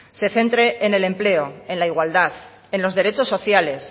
se centre en el empleo en la igualdad en los derechos sociales